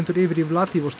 yfir í